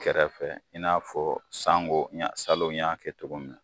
Kɛrɛfɛ i n'a fɔ sango, salon n y'a kɛ cogo min na.